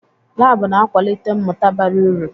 Laabụ̀ na-akwalite mmụta bara uru.